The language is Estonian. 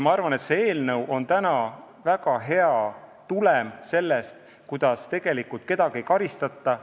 Ma arvan, et see eelnõu on väga hea tulem, tegelikult kedagi ei karistata.